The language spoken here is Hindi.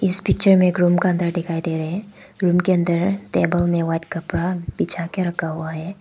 इस पिक्चर में एक रुम का अंदर दिखाई दे रहे हैं रुम के अन्दर टेबल में व्हाइट कपड़ा बिछाकर रखा हुआ है।